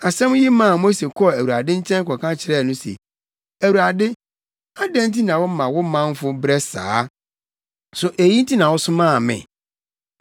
Asɛm yi maa Mose kɔɔ Awurade nkyɛn kɔka kyerɛɛ no se, “ Awurade, adɛn nti na woma wo manfo brɛ saa? So eyi nti na wosomaa me?